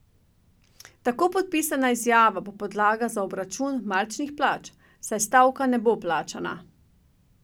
Tako podpisana izjava bo podlaga za obračun marčnih plač, saj stavka ne bo plačana.